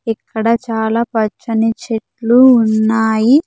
ఇక్కడ చాలా పచ్చని చెట్లు ఉన్నాయి.